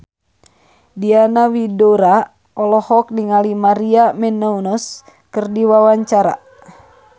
Diana Widoera olohok ningali Maria Menounos keur diwawancara